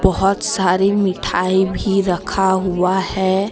बहुत सारी मिठाई भी रखा हुआ है।